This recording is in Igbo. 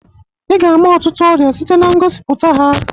Ị ga-ama ọtụtụ ọrịa site na ngosipụta ha.